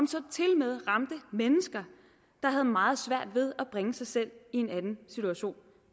som tilmed ramte mennesker der havde meget svært ved at bringe sig selv i en anden situation